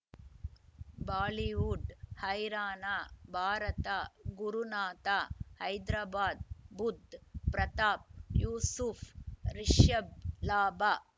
Bollywood ಹೈರಾಣ ಭಾರತ ಗುರುನಾಥ ಹೈದರಾಬಾದ್ ಬುಧ್ ಪ್ರತಾಪ್ ಯೂಸುಫ್ ರಿಷಬ್ ಲಾಭ